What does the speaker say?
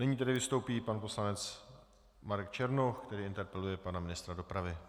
Nyní tedy vystoupí pan poslanec Marek Černoch, který interpeluje pana ministra dopravy.